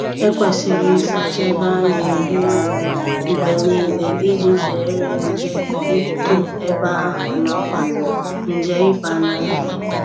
Ekwesịrị ịsacha ebe a na-eri nri mgbe niile iji zere nje ito ebe ahụ na kwa nje ịba na nri